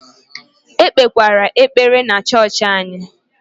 E kpekwere ekpere na chọọchị anyị!